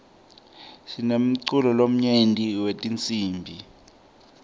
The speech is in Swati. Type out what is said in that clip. sinemculo lomnyenti wetinsibi